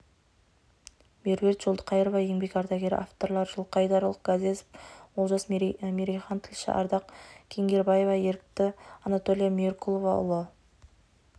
меруерт жолдықайырова еңбек ардагері авторлары жылқайдарұлы ғазезов олжас керейхан тілші ардақ кеңгербаева ерікті анатолия меркулова ұлы